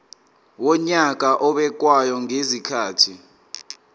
wonyaka obekwayo ngezikhathi